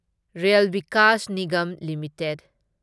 rail Vikas Nigam limited